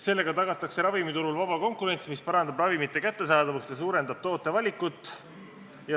Sellega tagatakse ravimiturul vaba konkurents, mis parandab ravimite kättesaadavust ja suurendab tootevalikut.